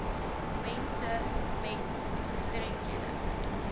mense met gestremdhede